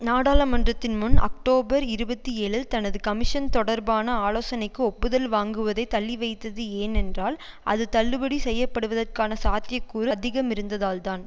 நாடாளமன்றத்தின் முன் அக்டோபர் இருபத்தி ஏழில் தனது கமிஷன் தொடர்பான ஆலோசனைக்கு ஒப்புதல் வாங்குவதை தள்ளிவைத்தது ஏனென்றால் அது தள்ளுபடி செய்யப்படுவதற்கான சாத்தியக்கூறு அதிகமிருந்ததால்தான்